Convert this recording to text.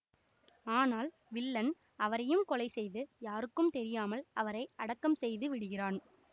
ஆனால் வில்லன் அவரையும் கொலை செய்து யாருக்கும் தெரியாமல் அவரை அடக்கம் செய்து விடுகிறான்